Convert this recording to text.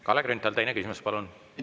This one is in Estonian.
Kalle Grünthal, teine küsimus, palun!